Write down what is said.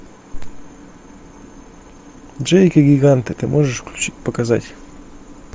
джейк и гиганты ты можешь включить показать